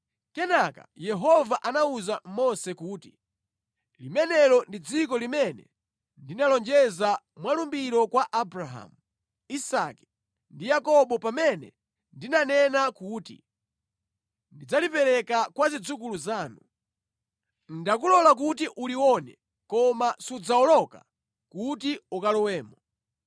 Kenaka Yehova anawuza Mose kuti, “Limenelo ndi dziko limene ndinalonjeza mwa lumbiro kwa Abrahamu, Isake ndi Yakobo pamene ndinanena kuti, ‘Ndidzalipereka kwa zidzukulu zanu.’ Ndakulola kuti ulione, koma sudzawoloka kuti ukalowemo.”